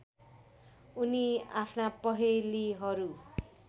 उनी आफ्ना पहेलीहरू